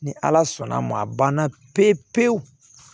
Ni ala sɔnn'a ma a banna pepewu